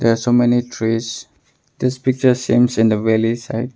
There are so many trees. In this picture seems in the village side.